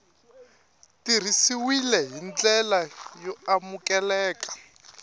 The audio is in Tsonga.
tirhisiwile hi ndlela y amukeleka